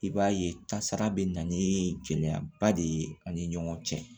I b'a ye tasara bɛ na ni gɛlɛyaba de ye ani ɲɔgɔn cɛ